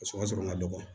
O ka sɔrɔ ka dɔgɔ